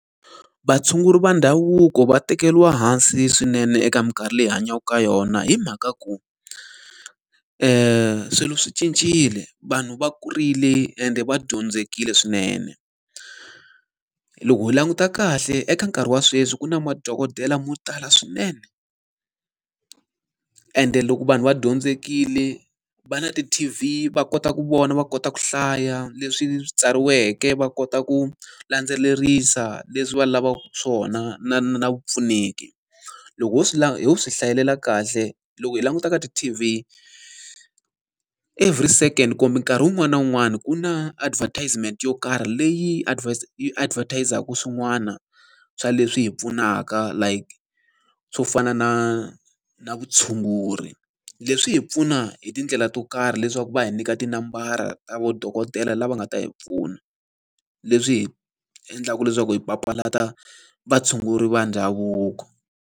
Vatshunguri va ndhavuko va tekeriwa hansi swinene eka minkarhi leyi hi hanyaka ka yona hi mhaka ku, i swilo swi cincile, vanhu va kurile ende va dyondzekile swinene. Loko hi languta kahle eka nkarhi wa sweswi ku na madokodela mo tala swinene, ende loko vanhu va dyondzekile va na ti-T_V, va kota ku vona, va kota ku hlaya leswi tsariweke, va kota ku landzelerisa leswi va lavaka swona na na vupfuneki. Loko ho swi ho swi hlayelela kahle loko hi langutaka ti-TV every second kumbe nkarhi wun'wani na wun'wani ku na advertisement yo karhi leyi yi advertise-aka swin'wana swa leswi hi pfunaka like, swo fana na na vutshunguri. Leswi hi pfuna hi tindlela to karhi leswaku va hi nyika tinambara ta madokodela lava nga ta hi pfuna, leswi hi endlaka leswaku hi papalata vatshunguri va ndhavuko.